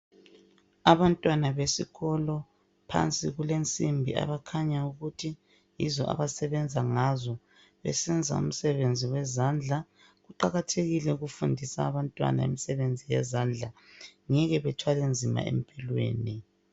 Abantwana besikolo phansi kulensimbi abakhanya ukuthi yizo abasebenza ngazo besenza umsebenzi wezandla. Kuqakathekile ukufundisa abantwana imisebenzi yezandla. Ngeke bethwale nzima empilweni.